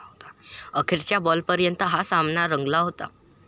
अखेरच्या बॉलपर्यंत हा सामना रंगला होता.